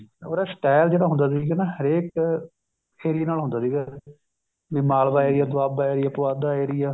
ਉਹਦਾ style ਜਿਹੜਾ ਹੁੰਦਾ ਸੀਗਾ ਨਾ ਹਰੇਕ ਏਰੀਏ ਨਾਲ ਹੁੰਦਾ ਸੀਗਾ ਜਿਵੇਂ ਮਾਲਵਾ ਹੈ ਦੁਆਬਾ ਏਰੀਆ ਪੁਆਧਾ ਏਰੀਆ